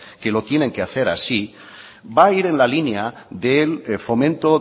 que lo tienen que hacer así va a ir en la línea del fomento